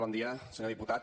bon dia senyor diputat